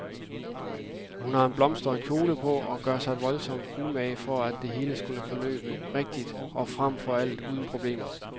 Hun har en blomstret kjole på og gør sig voldsomt umage for at det hele skal forløbe rigtigt og frem for alt uden problemer.